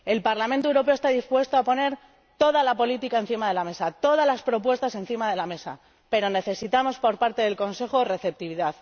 El Parlamento Europeo está dispuesto a poner todas las políticas y todas las propuestas encima de la mesa, pero necesitamos por parte del Consejo receptividad.